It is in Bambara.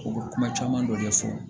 U bɛ kuma caman dɔ de fɔ